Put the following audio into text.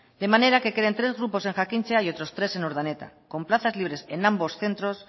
de manera que queden tres grupos en jakintza y otros tres en urdaneta con plazas libres en ambos centros